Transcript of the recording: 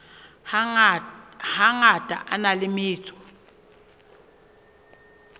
hangata a na le metso